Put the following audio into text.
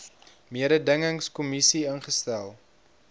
mededingings kommissie ingestel